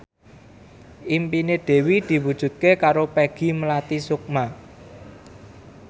impine Dewi diwujudke karo Peggy Melati Sukma